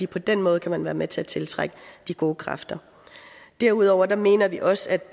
på den måde kan man være med til tiltrække de gode kræfter derudover mener vi også at